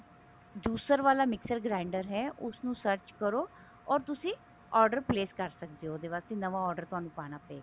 juicer ਵਾਲਾ mixer grinder ਹੈ ਉਸਨੂੰ search ਕਰੋ or ਤੁਸੀਂ order place ਕਰ ਸਕਦੇ ਹੋ ਉਹਦੇ ਵਾਸਤੇ ਨਵਾ order ਤੁਹਾਨੂੰ ਪਾਉਣਾ ਪਵੇਗਾ